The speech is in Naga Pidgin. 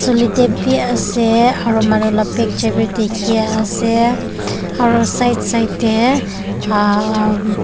soletep bhi ase aru manu bilak ke picture bhi dekhi ase aru side side te aa.